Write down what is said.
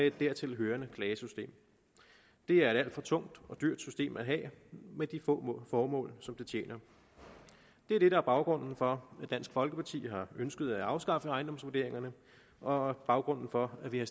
et dertilhørende klagesystem det er et alt for tungt og dyrt system at have med de få formål som det tjener det er det der er baggrunden for at dansk folkeparti har ønsket at afskaffe ejendomsvurderingerne og baggrunden for at vi har